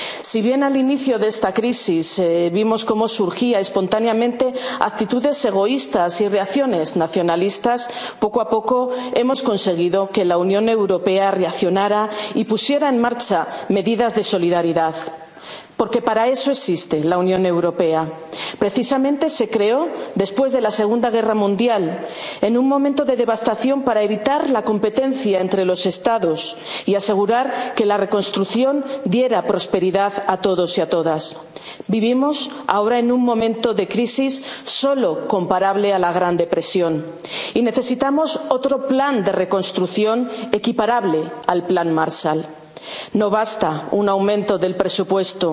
Si bien al inicio de esta crisis vimos cómo surgían espontáneamente actitudes egoístas y reacciones nacionalistas, poco a poco hemos conseguido que la Unión Europea reaccionara y pusiera en marcha medidas de solidaridad, porque para eso existe la Unión Europea. Precisamente se creó después de la Segunda Guerra Mundial, en un momento de devastación, para evitar la competencia entre los Estados y asegurar que la reconstrucción diera prosperidad a todos y a todas. Vivimos ahora en un momento de crisis solo comparable a la Gran Depresión y necesitamos otro plan de reconstrucción equiparable al plan Marshall. No basta un aumento del presupuesto